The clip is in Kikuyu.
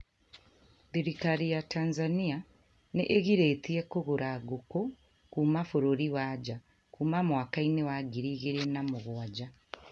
Thirikari ya Tanzania n ĩgirĩtie kũgũra ngũkũ kuma bũrũri wa naja kuma mwakani wa ngiri igĩrĩ na mugwaja